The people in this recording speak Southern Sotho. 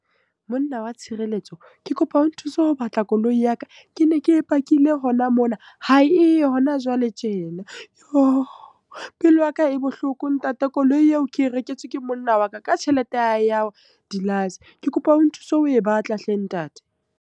Monna wa tshireletso, ke kopa o nthuse ho batla koloi ya ka. Ke ne ke e pakile hona mona, ha eyo hona jwale tjena. Pelo ya ka e bohloko ntate, koloi eo ke e reketswe ke monna wa ka ka tjhelete ya hae ya ho di . Ke kopa o nthuse ho e batla hle ntate.